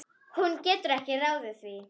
Hún getur ekki ráðið því.